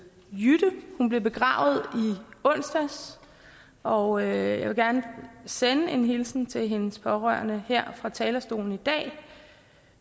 jytte hun blev begravet i onsdags og jeg vil gerne sende en hilsen til hendes pårørende her fra talerstolen i dag